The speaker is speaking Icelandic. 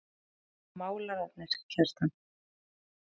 Um haustið koma málararnir Kjartan